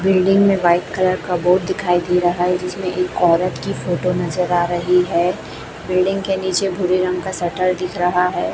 Building में white colour का board दिखाई दे रहा है जिसमें एक औरत की फोटो नजर आ रही है बिल्डिंग के नीचे भूरे रंग का शटर दिख रहा है।